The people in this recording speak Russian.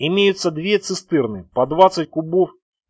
имеются две цистерны по двадцать кубов